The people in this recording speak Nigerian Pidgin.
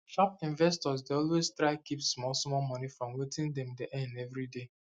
sharp investors dey always try keep small small money from wetin dem dey earn every day